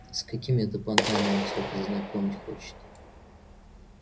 с какими это понтами он тебя познакомить хочет